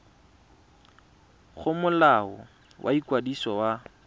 go molao wa ikwadiso wa